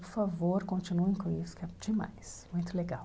Por favor, continuem com isso, que é demais, muito legal.